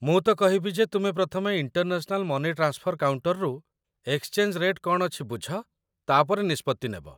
ମୁଁ ତ କହିବି ଯେ ତୁମେ ପ୍ରଥମେ ଇଣ୍ଟରନ୍ୟାସନାଲ ମନି ଟ୍ରାନ୍ସଫର କାଉଣ୍ଟର୍‌ରୁ ଏକ୍ସଚେଞ୍ଜ ରେଟ୍ କ'ଣ ଅଛି ବୁଝ, ତା'ପରେ ନିଷ୍ପତ୍ତି ନେବ।